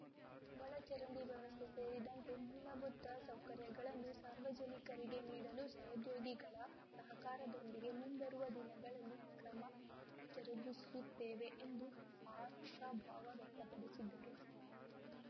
ಒಳಚರಂಡಿ ವ್ಯವಸ್ಥೆ ಸೇರಿದಂತೆ ಮೂಲಭೂತ ಸೌಕರ‍್ಯಗಳನ್ನು ಸಾರ್ವಜನಿಕರಿಗೆ ನೀಡಲು ಸಹೋದ್ಯೋಗಿಗಳ ಸಹಕಾರದೊಂದಿಗೆ ಮುಂಬರುವ ದಿನಗಳಲ್ಲಿ ಕ್ರಮ ಜರುಗಿಸುತ್ತೇನೆ ಎಂದು ಆಶಾಭಾವ ವ್ಯಕ್ತಪಡಿಸಿದರು